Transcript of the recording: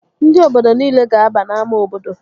Ndị obodo nile gaba n'ámá obodo!